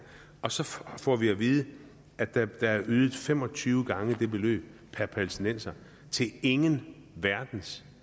og så får vi at vide at der er ydet fem og tyve gange det beløb per palæstinenser til ingen verdens